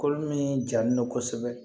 Kolo min jalen don kosɛbɛ